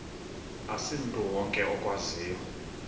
asimntu wonke okwaziyo